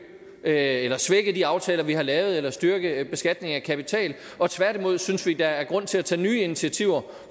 at svække de aftaler vi har lavet eller styrke beskatningen af kapital tværtimod synes vi at der er grund til at tage nye initiativer